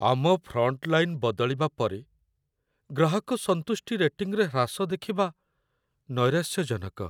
ଆମ ଫ୍ରଣ୍ଟଲାଇନ୍ ବଦଳିବା ପରେ ଗ୍ରାହକ ସନ୍ତୁଷ୍ଟି ରେଟିଂରେ ହ୍ରାସ ଦେଖିବା ନୈରାଶ୍ୟଜନକ।